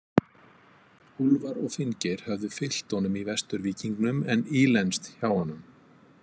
Úlfar og Finngeir höfðu fylgt honum í vesturvíkingnum en ílenst hjá honum.